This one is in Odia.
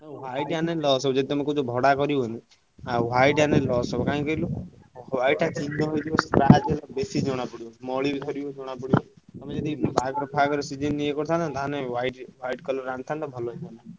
White ଆଣିଲେ loss ହବ ଯଦି ତମେ କହୁଛ ଭଡା କରିବ ବୋଲି silecne ଆଉ white ଆଣିଲେ loss ହବ କାଇଁ କହିଲ white ଟା ଚିହ୍ନ ହେଇଯିବ scratch ହେଇଯିବ, ବେଶୀ ଜଣା ପଡିବ ମଳି ବି ବାହାରିବ ଜଣାପଡିବ ମାନେ ଜଦି ବାହାଘର ଫାହଘର season ୟେ କରିଥାନ୍ତ ତାହେଲେ white colour ଆଣିଥାନ୍ତ ତାହେଲେ ଭଲ ହେଇଥାନ୍ତା।